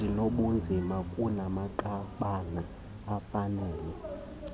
ezinobunzima kumanqanaba afanele